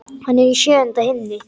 Hann er í sjöunda himni.